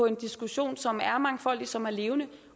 en diskussion som er mangfoldig som er levende